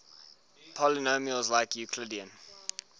polynomials like euclidean